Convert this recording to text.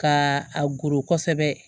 Ka a goro kosɛbɛ